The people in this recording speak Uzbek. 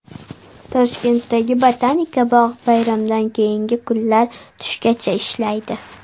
Toshkentdagi Botanika bog‘i bayramdan keyingi kunlar tushgacha ishlaydi.